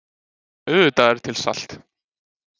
Auðvitað er til salt.